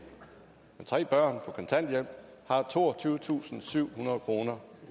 med tre børn på kontanthjælp har toogtyvetusinde og syvhundrede kroner